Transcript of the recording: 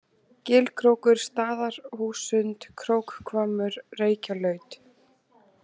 Gilkrókur, Staðarhússund, Krókhvammur, Reykjalaut